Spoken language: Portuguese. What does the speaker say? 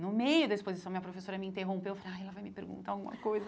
No meio da exposição, minha professora me interrompeu, eu falei, ai, ela vai me perguntar alguma coisa.